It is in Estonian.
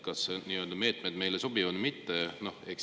Kas need meetmed meile sobivad või mitte?